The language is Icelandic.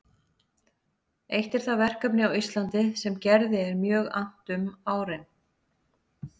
Eitt er það verkefni á Íslandi sem Gerði er mjög annt um árin